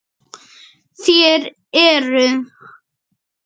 Þér eruð?